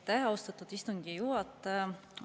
Aitäh, austatud istungi juhataja!